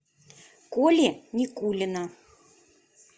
коли никулина